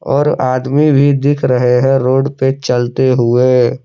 और आदमी भी दिख रहे हैं रोड पे चलते हुए।